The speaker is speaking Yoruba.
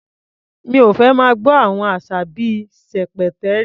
Mi ò fẹ́ máa gbọ́ àwọn àṣà bí i "ṣẹ̀pẹ̀tẹ́rì".